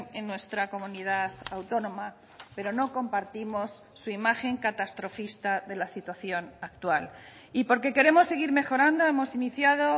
en nuestra comunidad autónoma pero no compartimos su imagen catastrofista de la situación actual y porque queremos seguir mejorando hemos iniciado